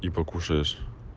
и покушаешь